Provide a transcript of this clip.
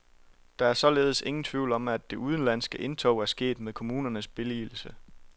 Der er således ingen tvivl om, at det udenlandske indtog er sket med kommunernes billigelse.